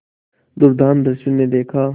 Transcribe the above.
दुर्दांत दस्यु ने देखा